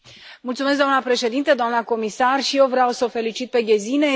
Mulțumesc, doamna președintă, doamna comisar, și eu vreau să o felicit pe Gesine.